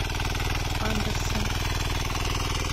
андерсон